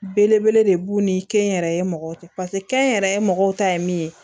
Belebele de b'u ni kɛnyɛrɛye mɔgɔw cɛ paseke kɛnyɛrɛye mɔgɔw ta ye min ye